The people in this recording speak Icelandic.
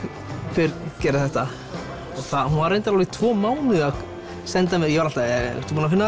hver gerði þetta hún var reyndar alveg tvo mánuði að senda mér ég var alltaf ertu búin að finna